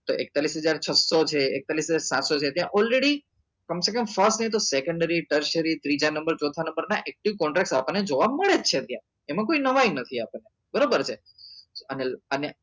તો એકતાલીસ હજાર છસો છે એકતાલીસ હજાર સાતસો છે ત્યાં already કમસેકમ so નહિ તો secondary ત્રીજા નંબર ચોથા નંબર ના active contract આપણને જોવા મળે જ છે ત્યાં એમાં કઈ નવી નથી આપણને બરાબર ને અને અને